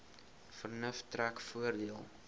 vernuf trek voordeel